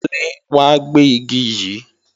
Kúnlé wá gbé Igi yí!